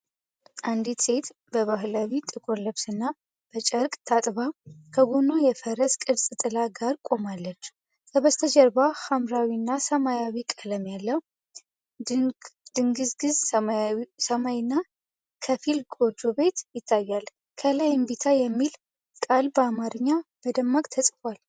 አንዲት ሴት በባህላዊ ጥቁር ልብስና በጨርቅ ታጥባ ከጎኗ የፈረስ ቅርጽ ጥላ ጋር ቆማለች። ከበስተጀርባ ሐምራዊና ሰማያዊ ቀለም ያለው ድንግዝግዝ ሰማይና ከፊል ጎጆ ቤት ይታያል። ከላይ "እምቢታ" የሚል ቃል በአማርኛ በደማቅ ተጽፏል።